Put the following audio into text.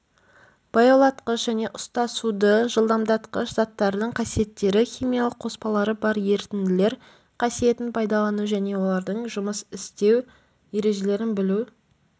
баяулатқыш және ұстасуды жылдамдатқыш заттардың қасиеттері химиялық қоспалары бар ерітінділер қасиетін пайдалану және олармен жұмыс істеу ережелерін білу